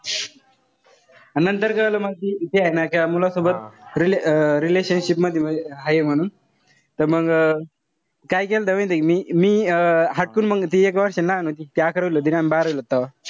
अन नंतर कळलं मग कि ती हाय ना त्या मुलासोबत अं relationship मध्ये म्हणजे हाये म्हणून. त मंग काय केलंत माहितीय का मी. मी अं हटकून मंग ती एक वेळा होती ती अकरावीला होती ना अन मी बारावीला होता.